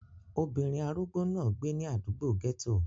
Obìnrin arúgbó náà gbé ní àdúgbò gẹ́tò